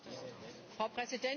Frau Präsidentin!